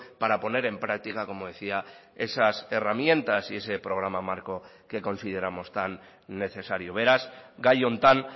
para poner en práctica como decía esas herramientas y ese programa marco que consideramos tan necesario beraz gai honetan